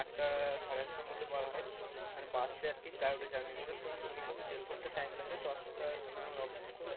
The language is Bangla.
আটটা সাড়ে আটটার মধ্যে বার হয়, মানে বাসে আর কি journey করে, তোর minimum দেড় ঘন্টা সময় লাগে, দশটার সময় আমার অফিস খোলে,